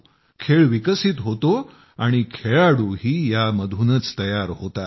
खेळ विकसित होतो आणि खेळाडूही यामधूनच तयार होतात